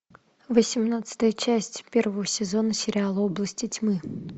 восемнадцатая часть первого сезона сериала области тьмы